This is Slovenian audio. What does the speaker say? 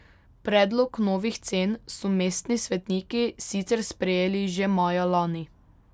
Predlog novih cen so mestni svetniki sicer sprejeli že maja lani.